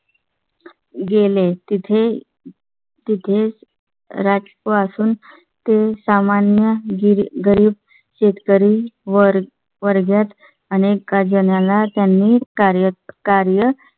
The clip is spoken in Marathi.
गेले तिथे तिथेच राजकोट पासून ते सामान्य गरीब शेतकरी वर वर्गात अनेक जणांना त्यांनी कार्य